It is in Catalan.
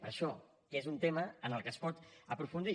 per això que és un tema en el que es pot aprofundir